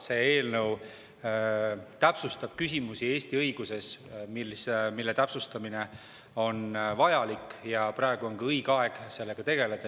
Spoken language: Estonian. See eelnõu täpsustab küsimusi Eesti õiguses, mille täpsustamine on vajalik, ja praegu on õige aeg sellega tegeleda.